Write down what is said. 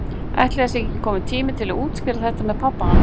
Ætli það sé ekki kominn tími til að útskýra þetta með pabba hans?